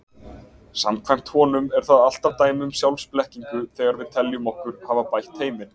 Samkvæmt honum er það alltaf dæmi um sjálfsblekkingu þegar við teljum okkur hafa bætt heiminn.